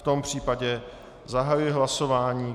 V tom případě zahajuji hlasování.